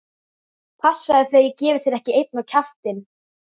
Passaðu þig að ég gefi þér ekki einn á kjaftinn!